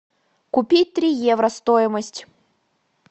купить три евро стоимость